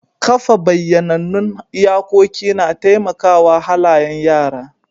Kafa bayyanannun iyakoki na taimaka wa halayen yara.